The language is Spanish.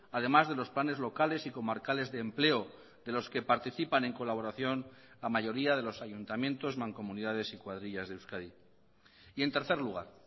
además de los planes locales y comarcales de empleo de los que participan en colaboración la mayoría de los ayuntamientos mancomunidades y cuadrillas de euskadi y en tercer lugar